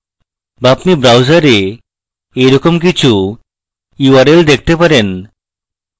বা আপনি browser এইরকম কিছু url দেখতে পারেন